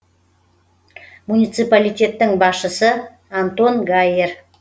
муниципалитеттің басшысы антон гайер